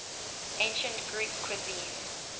ancient greek cuisine